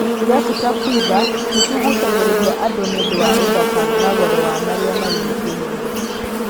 Irabu ta Quiver’s nĩcigucagĩrĩria andũ ni ũndũ wa ũthaka na goro wa marĩa marigicĩirie..